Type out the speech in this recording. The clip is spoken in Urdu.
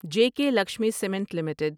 J K Lakshmi cement limited